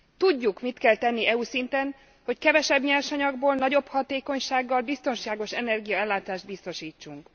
Tudjuk, mit kell tenni EU szinten, hogy kevesebb nyersanyagból, nagyobb hatékonysággal biztonságos energiaellátást biztosítsunk.